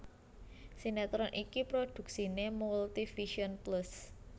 Sinetron iki prodhuksiné Multivision Plus